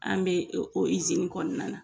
An be kɔnɔna na.